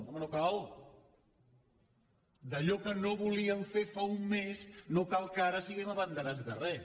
home no cal d’allò que no volíem fer fa un mes no cal que ara siguem abanderats de res